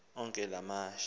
onke la mashi